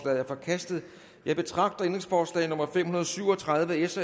er forkastet jeg betragter ændringsforslag nummer fem hundrede og syv og tredive af s